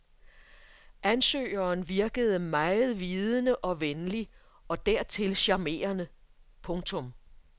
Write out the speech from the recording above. Ansøgeren virkede meget vidende og venlig og dertil charmerende. punktum